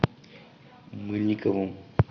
мыльниковым